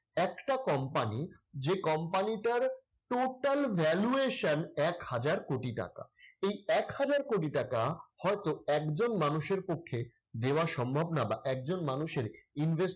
একটা company যে company টার total valuation এক হাজার কোটি টাকা। এই এক হাজার কোটি টাকা হয়তো একজন মানুষের পক্ষে দেওয়া সম্ভব না বা একজন মানুষের invest